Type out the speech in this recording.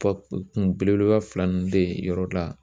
Kɔ kun belebeleba fila ninnu bɛ yen yɔrɔ la.